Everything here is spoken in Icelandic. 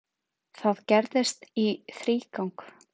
Það gerðist í þrígang.